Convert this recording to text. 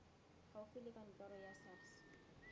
gaufi la kantoro ya sars